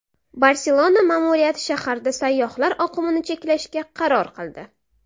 Barselona ma’muriyati shaharda sayyohlar oqimini cheklashga qaror qildi.